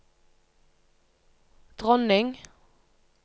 dronning